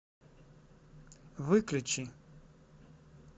выключи